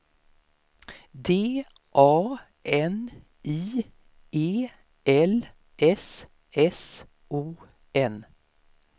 D A N I E L S S O N